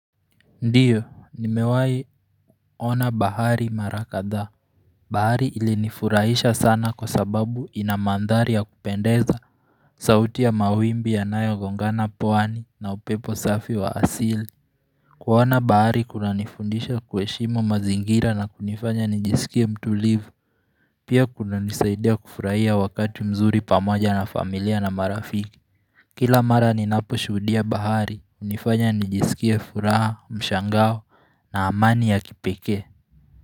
Ndiyo, nimewai ona bahari mara kadhaa. Bahari ilinifurahisha sana kwa sababu inamandhari ya kupendeza, sauti ya mawimbi yanayogongana pwani na upepo safi wa asili. Kuona bahari kuna nifundisha kwueshimu mazingira na kunifanya nijiskie mtulivu, pia kuna nisaidia kufurahia wakati nzuri pamoja na familia na marafiki. Kila mara ninaposhuhudia bahari, hunifanya nijiskie furaha, mshangao na amani ya kipekee.